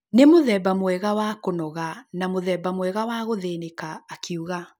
Nĩ mũthemba mwega wa kũnoga na mũthemba mwega wa gũthĩnĩka’’ akiuga